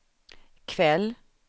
kväll